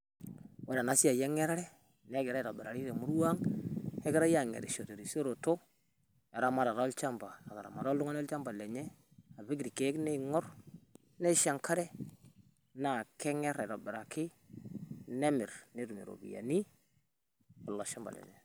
Ore ena siaai e nyerere neigirai aitobirari te imurrua ang'.Neigirai anyerisho te terishoroto eramatata olchamba ataramata iltung'ani ilchamba lenye apiik lkeek neing'or nishoo enkare. Naa keenyerr aitobiraki nemir netuum ropiani olchamba lenye.